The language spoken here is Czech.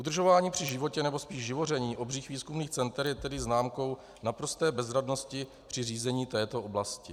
Udržování při životě, nebo spíš živoření obřích výzkumných center je tedy známkou naprosté bezradnosti při řízení této oblasti.